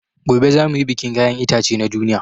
Gobe za muyi bikin kayan itace na duniya